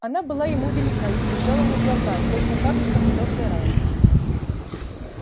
она была ему велика и съезжала на глаза точно так же как в прошлый раз